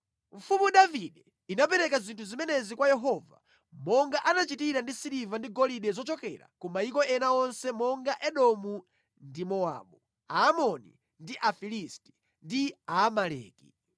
Mfumu Davide inapereka zinthu zimenezi kwa Yehova, monga anachitira ndi siliva ndi golide zochokera ku mayiko ena onse monga Edomu ndi Mowabu, Aamoni ndi Afilisti, ndi Aamaleki.